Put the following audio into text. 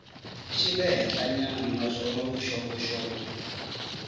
xa le henhlanyana naswona vuxokoxoko